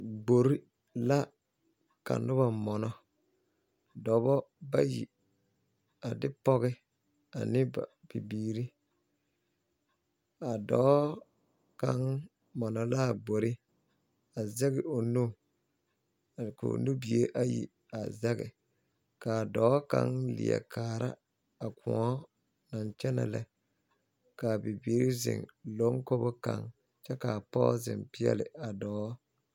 Gbori la ka noba mona dɔbɔ bayi a de pɔge ane ba bibiiri a dɔɔ kaŋ mona la a gbori a zɛge o nu k'o nubie a ayi zɛge ka a dɔɔ kaŋ leɛ kaara a kõɔ naŋ kyɛnɛ lɛ ka a bibiiri zeŋ bonkoboŋ kyɛ ka a pɔge zeŋ peɛle a dɔɔ.